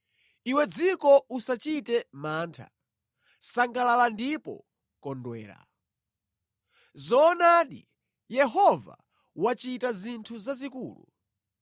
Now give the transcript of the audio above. Iwe dziko usachite mantha; sangalala ndipo kondwera. Zoonadi Yehova wachita zinthu zazikulu.